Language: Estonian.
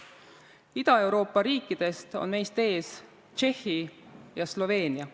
Ida-Euroopa riikidest on meist ees Tšehhi ja Sloveenia.